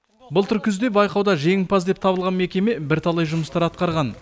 былтыр күзде байқауда жеңімпаз деп табылған мекеме бірталай жұмыстар атқарған